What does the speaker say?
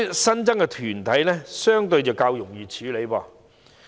新增的團體相對較容易處理。